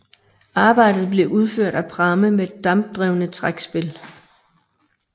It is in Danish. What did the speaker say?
Arbejdet blev udført af pramme med dampdrevne trækspil